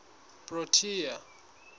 protea